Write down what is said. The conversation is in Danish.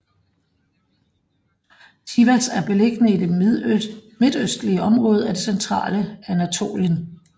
Sivas er beliggende i det midtøstlige område af det centrale Anatolien